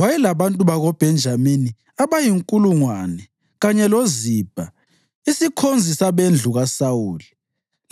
Wayelabantu bakoBhenjamini abayinkulungwane, kanye loZibha, isikhonzi sabendlu kaSawuli,